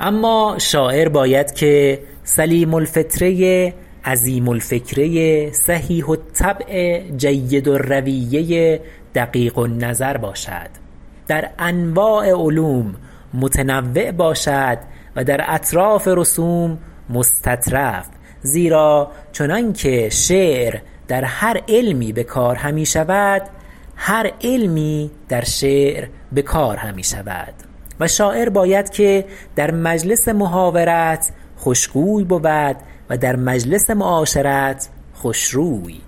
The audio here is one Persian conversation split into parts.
اما شاعر باید که سلیم الفطره عظیم الفکره صحیح الطبع جید الرویه دقیق النظر باشد در انواع علوم متنوع باشد و در اطراف رسوم مستطرف زیرا چنان که شعر در هر علمی به کار همی شود هر علمی در شعر به کار همی شود و شاعر باید که در مجلس محاورت خوشگوی بود و در مجلس معاشرت خوشروی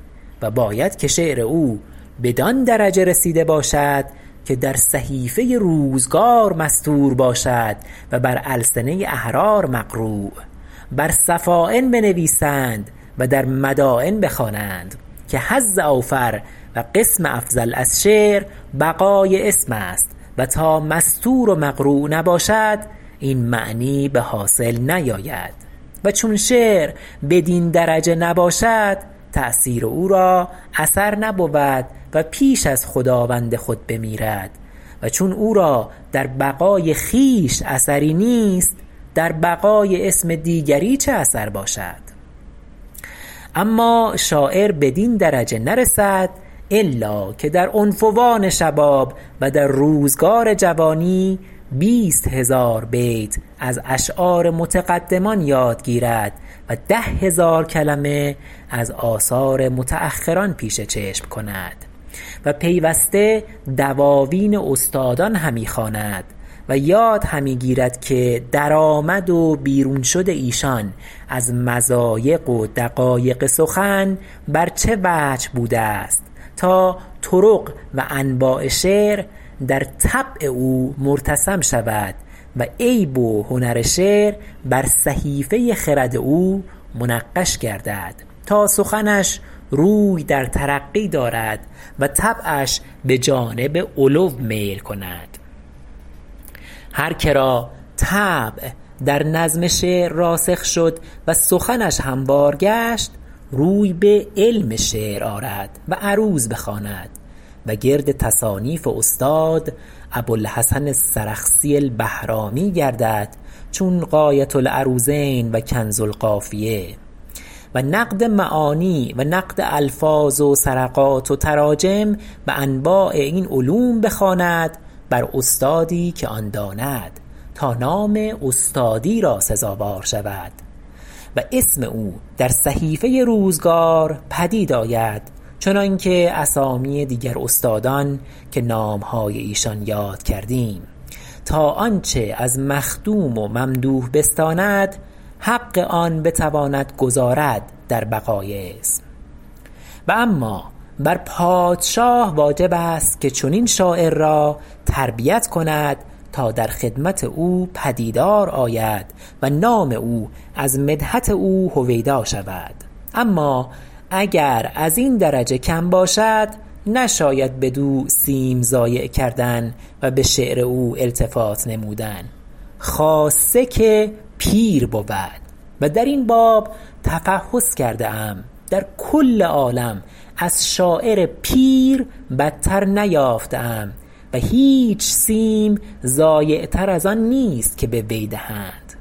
و باید که شعر او بدان درجه رسیده باشد که در صحیفه روزگار مسطور باشد و بر السنه احرار مقروء بر سفاین بنویسد و در مداین بخوانند که حظ اوفر و قسم افضل از شعر بقاء اسم است و تا مسطور و مقروء نباشد این معنی به حاصل نیاید و چون شعر بدین درجه نباشد تأثیر او را اثر نبود و پیش از خداوند خود بمیرد و چون او را در بقاء خویش اثری نیست در بقاء اسم دیگری چه اثر باشد اما شاعر بدین درجه نرسد الا که در عنفوان شباب و در روزگار جوانی بیست هزار بیت از اشعار متقدمان یاد گیرد و ده هزار کلمه از آثار متأخران پیش چشم کند و پیوسته دواوین استادان همی خواند و یاد همی گیرد که درآمد و بیرون شد ایشان از مضایق و دقایق سخن بر چه وجه بوده است تا طرق و انواع شعر در طبع او مرتسم شود و عیب و هنر شعر بر صحیفه خرد او منقش گردد تا سخنش روی در ترقی دارد و طبعش به جانب علو میل کند هر که را طبع در نظم شعر راسخ شد و سخنش هموار گشت روی به علم شعر آرد و عروض بخواند و گرد تصانیف استاد ابوالحسن السرخسی البهرامی گردد چون غایة العروضین و کنز القافیه و نقد معانی و نقد الفاظ و سرقات و تراجم و انواع این علوم بخواند بر استادی که آن داند تا نام استادی را سزاوار شود و اسم او در صحیفه روزگار پدید آید چنان که اسامی دیگر استادان که نامهای ایشان یاد کردیم تا آنچه از مخدوم و ممدوح بستاند حق آن بتواند گزارد در بقاء اسم و اما بر پادشاه واجب است که چنین شاعر را تربیت کند تا در خدمت او پدیدار آید و نام او از مدحت او هویدا شود اما اگر از این درجه کم باشد نشاید بدو سیم ضایع کردن و به شعر او التفات نمودن خاصه که پیر بود و در این باب تفحص کرده ام در کل عالم از شاعر پیر بدتر نیافته ام و هیچ سیم ضایع تر از آن نیست که به وی دهند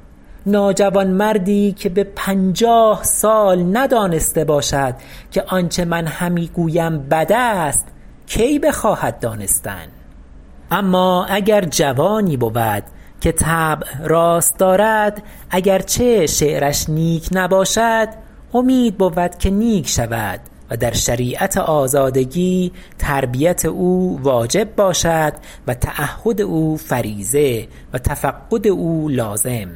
ناجوانمردی که به پنجاه سال ندانسته باشد که آنچه من همی گویم بد است کی بخواهد دانستن اما اگر جوانی بود که طبع راست دارد اگر چه شعرش نیک نباشد امید بود که نیک شود و در شریعت آزادگی تربیت او واجب باشد و تعهد او فریضه و تفقد او لازم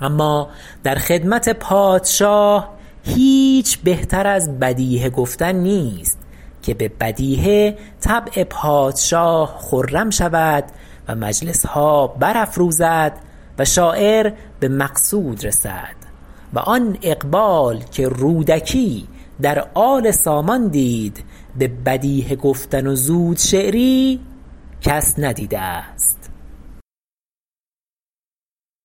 اما در خدمت پادشاه هیچ بهتر از بدیهه گفتن نیست که به بدیهه طبع پادشاه خرم شود و مجلسها برافروزد و شاعر به مقصود رسد و آن اقبال که رودکی در آل سامان دید به بدیهه گفتن و زود شعری کس ندیده است